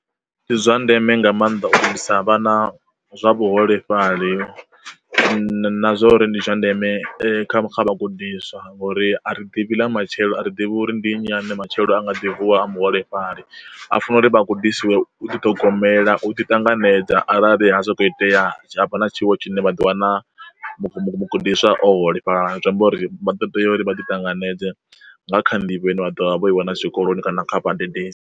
Ndi zwandeme nga maanḓa u gudisa vhana zwa vhuholefhali na zwa uri ndi zwa ndeme kha kha vhagudiswa ngauri a ri ḓivhi ḽa matshelo a ri ḓivhi uri ndi nnyi ane matshelo a nga ḓi vuwa a muholefhali a funa uri vha gudisiwe u ḓi ṱhogomela u ḓi ṱanganedza arali ha sokou itea havha na tshiwo tshine vha ḓi wana muhu mugudiswa a o holefhala. Zwi amba uri vha ḓo teya uri vha ḓi tanganedze nga kha nḓivho ine vha ḓovha vho i wana zwikoloni kana kha vhadededzi.